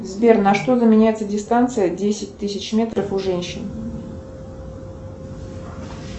сбер на что заменяется дистанция десять тысяч метров у женщин